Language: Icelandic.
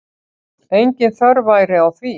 Engin þörf væri á því.